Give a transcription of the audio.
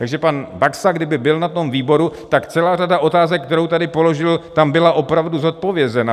Takže pan Baxa, kdyby byl na tom výboru, tak celá řada otázek, které tady položil, tam byla opravdu zodpovězena.